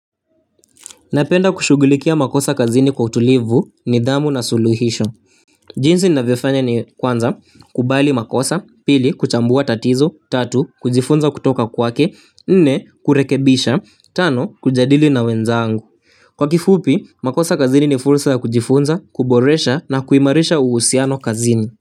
Napenda kushugulikia makosa kazini kwa utulivu, nidhamu na suluhisho. Jinsi ninavyofanya ni kwanza, kubali makosa, pili, kuchambua tatizo, tatu, kujifunza kutoka kwake, nne, kurekebisha, tano, kujadili na wenzangu. Kwa kifupi, makosa kazini ni fursa ya kujifunza, kuboresha na kuimarisha uhusiano kazini.